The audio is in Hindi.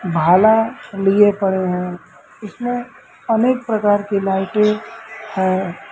भाला लिए पड़े हैं इसमें अनेक प्रकार कि लाइटें है।